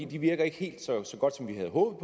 de virker ikke helt så så godt som vi havde håbet